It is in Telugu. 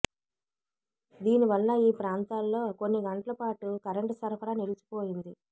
దీని వల్ల ఈ ప్రాంతాల్లో కొన్ని గంటలపాటు కరెంటు సరఫరా నిలిచిపోయింది